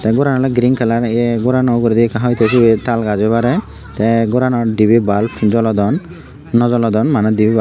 ei goran oley green kalar ei ei gorano uguredi ekka hoitow sibey oi parey tey goranot dibey bulb jolodon naw jolodon maneh dibey bulb.